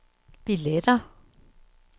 billetter